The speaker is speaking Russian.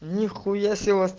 нехуя